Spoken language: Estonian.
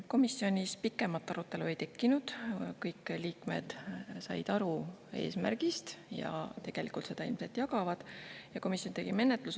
Komisjonis pikemat arutelu ei tekkinud, kõik liikmed said aru eesmärgist ja tegelikult seda ilmselt jagavad.